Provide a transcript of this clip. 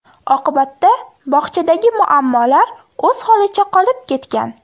Oqibatda bog‘chadagi muammolar o‘z holicha qolib ketgan.